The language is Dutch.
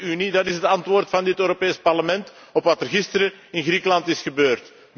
Méér Unie, dat is het antwoord van dit Europees Parlement op wat er gisteren in Griekenland is gebeurd.